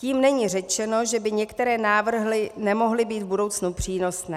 Tím není řečeno, že by některé návrhy nemohly být v budoucnu přínosné.